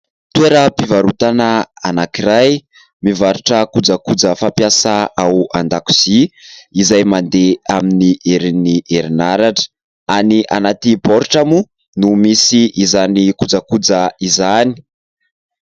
Toeram-pivarotana anankiray mivarotra kojakoja fampiasa ao andakozia izay mandeha amin'ny herin'ny herinaratra. Any anaty boritra moa no misy izany kojakoja izany.